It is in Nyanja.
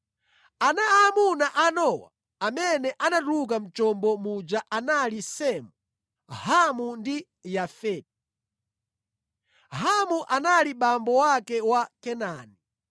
Ana aamuna a Nowa amene anatuluka mʼchombo muja anali Semu, Hamu ndi Yafeti. Hamu anali abambo ake a Kanaani.